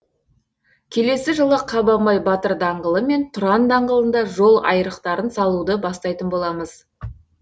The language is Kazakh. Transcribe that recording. келесі жылы қабанбай батыр даңғылы мен тұран даңғылында жол айрықтарын салуды бастайтын боламыз